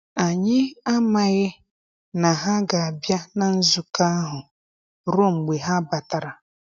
Anyị amaghi na ha ga-abịa na nzukọ ahụ ruo mgbe ha batara.